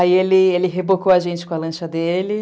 Aí ele ele rebocou a gente com a lancha dele.